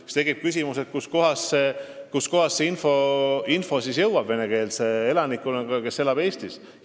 Siis tekib ju küsimus, kuidas jõuab info venekeelse elanikkonnani, kes elab Eestis.